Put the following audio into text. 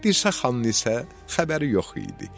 Dirsəxanın isə xəbəri yox idi.